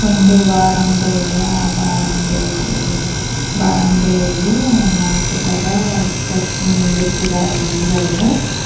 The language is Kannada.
ಒಂದು ಬಾರ್ ಅಂಗ್ಡಿ ಇದೆ ಆ ಬಾರ್ ಅಂಗ್ಡಿ ಹೋ ಬಾರ್ ಅಂಗಡಿಯಲ್ಲಿ ನಾಕುತರ ಸ್ಟೆಪ್ ನಿಂದ್ರಿಸಿದ್ದಾರೆ ಮುಂದುಗಡೆ.